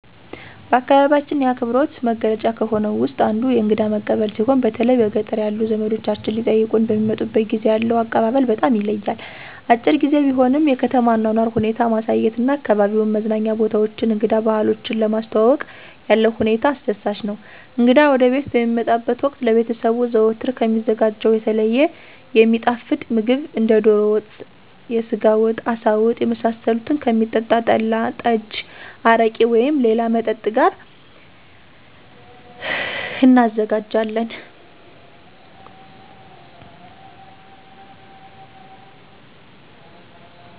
በአካባቢያችን የአክብሮት መገለጫ ከሆነው ውስጥ አንዱ እንግዳ መቀበል ሲሆን በተለይ በገጠር ያሉ ዘመዶቻችን ሊጠይቁን በሚመጡበት ጊዜ ያለው አቀባበል በጣም ይለያል። አጭር ግዜ ቢሆንም የከተማ አኗኗር ሁኔታ ማሳየት እና አካባቢዉን የመዝናኛ ቦታዎችን እንግዳ ባህሎችን ለማስተዋወቅ ያለው ሁኔታ አስደሳች ነው። እንግዳ ወደቤት በሚመጣበት ወቅት ለቤተሰቡ ዘወትር ከሚዘጋጀው የተለየ የሚጣፍጥ ምግብ እንደ ዶሮ ወጥ፣ የስጋ ወጥ፣ አሳ ወጥ የመሳሰሉትን ከሚጠጣ ጠላ፣ ጠጅ፣ አረቄ ወይም ሌላ መጠጥ ጋር እናዘጋጃለን።